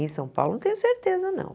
Em São Paulo não tenho certeza, não.